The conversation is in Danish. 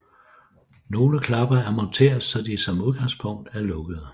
Nogle klapper er monteret så de som udgangspunkt er lukkede